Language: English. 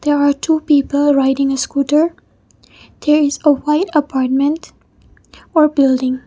there are two people riding a scooter there is a white apartment or building.